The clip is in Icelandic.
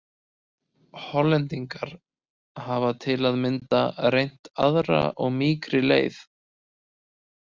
Hollendingar hafa til að mynda reynt aðra og mýkri leið.